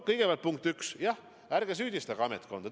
Kõigepealt, punkt üks, ärge süüdistage ametkonda.